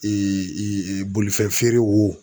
bolifɛn feere wo